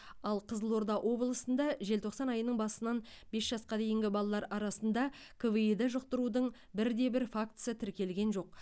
ал қызылорда облысында желтоқсан айының басынан бес жасқа дейінгі балалар арасында кви ді жұқтырудың бірде бір фактісі тіркелген жоқ